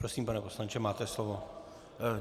Prosím, pane poslanče, máte slovo.